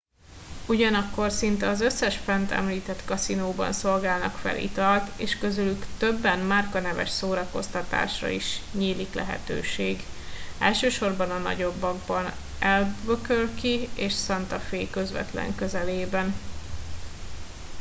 ugyanakkor szinte az összes fent említett kaszinóban szolgálnak fel italt és közülük többen márkaneves szórakoztatásra is nyílik lehetőség elsősorban a nagyokban albuquerque és santa fe közvetlen közelében